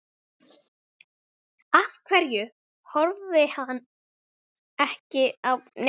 Af hverju horfði hann ekki á hina leikmennina líka?